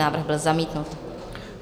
Návrh byl zamítnut.